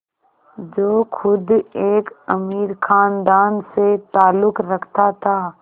जो ख़ुद एक अमीर ख़ानदान से ताल्लुक़ रखता था